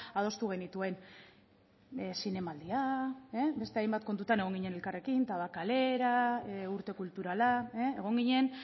adostu genituen zinemaldia beste hainbat kontutan egon ginen elkarrekin tabakalera urte kulturala egon ginen